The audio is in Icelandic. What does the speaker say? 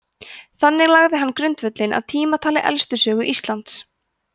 þannig lagði hann grundvöllinn að tímatali elstu sögu íslands